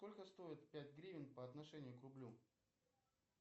сколько стоит пять гривен по отношению к рублю